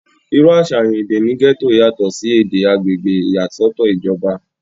irú àsàyàn èdè ní gẹ́tò yàtọ̀ sí èdè agbègbè ìyàsọ́tọ̀ ìjọba